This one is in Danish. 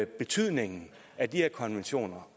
betydningen af de her konventioner